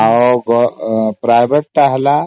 ଆଉ private ହେଲା